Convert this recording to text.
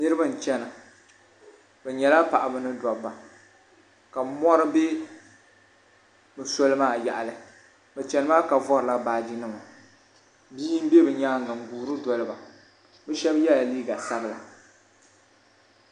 Niriba nchɛna bi yɛla paɣaba ni dabba ka mori bɛ bi soli maa yaɣili bi chɛni maa ka vorila baaji nima bia n bɛ bi yɛanga bi shɛba ye la liiga sabila.